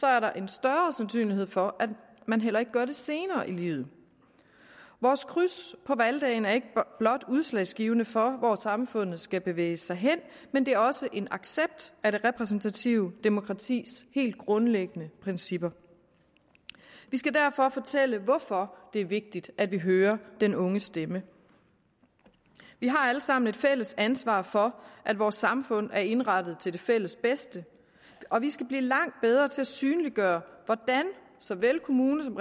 er der en større sandsynlighed for at man heller ikke gør det senere i livet vores kryds på valgdagen er ikke blot udslagsgivende for hvor samfundet skal bevæge sig hen men det er også en accept af det repræsentative demokratis helt grundlæggende principper vi skal derfor fortælle hvorfor det er vigtigt at vi hører den unges stemme vi har alle sammen et fælles ansvar for at vores samfund er indrettet til det fælles bedste og vi skal blive langt bedre til at synliggøre hvordan så vel kommune som